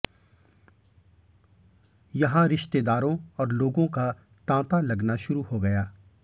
यहां रिश्तेदारों और लोगों का तांता लगना शुरू हो गया